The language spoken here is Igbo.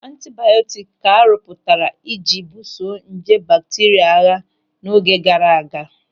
Antibiọtiki ka a rụpụtara ị ji buso nje bakteria agha n'oge gaara aga.